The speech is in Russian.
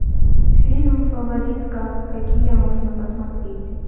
фильм фаворитка какие можно посмотреть